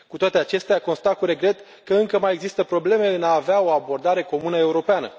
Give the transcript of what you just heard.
Cu toate acestea, constat cu regret că încă mai există probleme în a avea o abordare comună europeană.